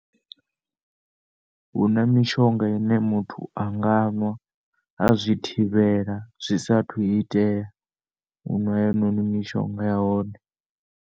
Huna mishonga ine muthu anga nwa azwi thivhela zwi sathu itea unwa heinoni mishonga yahone.